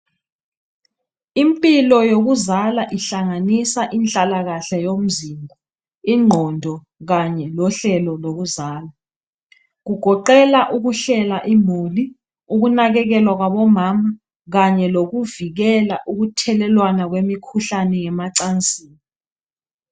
Impilo yokuzala ihlanganisa inhlalakahle yomzimba, ingqondo kanye lohlelo lokuzala .Kugoqela ukuhlela imuli ,ukunakekelwa kwabomama kanye lokuvikela ukuthelelwana kwemikhuhlane yemacansini.